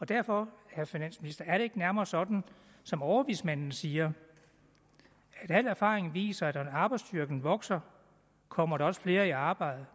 derfor ikke nærmere sådan som overvismanden siger at al erfaring viser at når arbejdsstyrken vokser kommer der også flere i arbejde